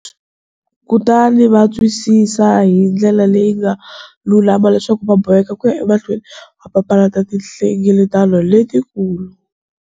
Kutani va twisisa hi ndlela leyi nga lulama leswaku va boheka ku ya emahlweni va papalata tinhlengeletano letikulu.